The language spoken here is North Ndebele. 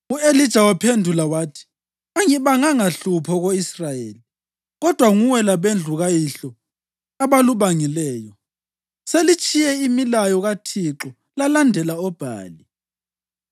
U-Elija waphendula wathi, “Angibanganga hlupho ko-Israyeli. Kodwa nguwe labendlu kayihlo abalubangileyo. Selitshiye imilayo kaThixo lalandela oBhali.